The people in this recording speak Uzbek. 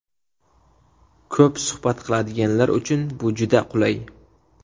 Ko‘p suhbat qiladiganlar uchun bu juda qulay.